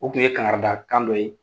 O tun ye kankari da kan dɔ ye.